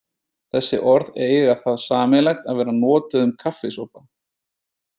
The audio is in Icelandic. Þessi orð eiga það sameiginlegt að vera notuð um kaffisopa.